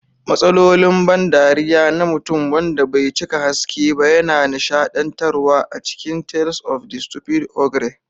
Matsalolin ban dariya na mutum wanda bai cika haske ba yana nishadantarwa a cikin Tales of the Stupid Ogre.